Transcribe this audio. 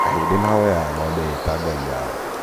aahĩndĩ mahoyaga ng'ombe ĩĩ ta Ngai Yao